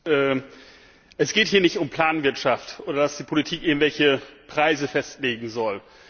Herr Präsident! Es geht hier nicht um Planwirtschaft oder darum, dass die Politik irgendwelche Preise festlegen soll.